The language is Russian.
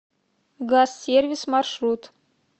газ сервис маршрут